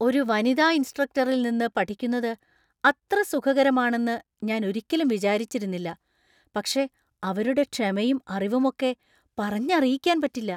ഒരു വനിതാ ഇൻസ്ട്രക്ടറിൽ നിന്ന് പഠിക്കുന്നത് അത്ര സുഖകരമാണെന്ന് ഞാൻ ഒരിക്കലും വിചാരിച്ചിരുന്നില്ല, പക്ഷേ അവരുടെ ക്ഷമയും അറിവുമൊക്കെ പറഞ്ഞറിയിക്കാൻ പറ്റില്ല.